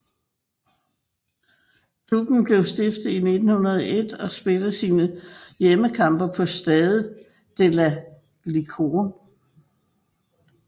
Klubben blev stiftet i 1901 og spiller sine hjemmekampe på Stade de la Licorne